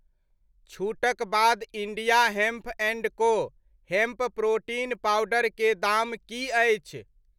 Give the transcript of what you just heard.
छूटक बाद India hemp and को हेम्प प्रोटीन पाउडर के दाम की अछि ?